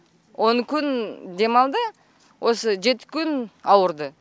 он күн демалды осы жеті күн ауырды